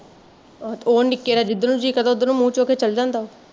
ਆਹੋ ਤੇ ਉਹ ਨਿਕੇ ਦਾ ਜਿਦਰ ਨੂੰ ਜੀਅ ਕਰਦਾ ਉੱਧਰ ਨੂੰ ਮੂਹ ਚੁੱਕ ਕੇ ਚੱਲ ਜਾਂਦਾ